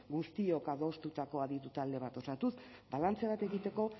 guztiok adostutako aditu talde bat osatuz balantze bat egiteko